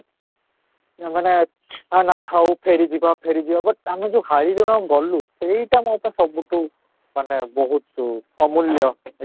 ମାନେ ନା ନା ଥାଉ ଫେରି ଯିବା ଫେରି ଯିବା but ଆମେ ଯଉ high ଗଲୁ ସେଇଟା ମୋତେ ସବୁଠୁ ମାନେ ଅମୁଲ୍ୟ ଅଟେ